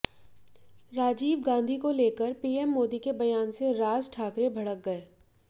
राजीव गांधी को लेकर पीएम मोदी के बयान से राज ठाकरे भड़क गए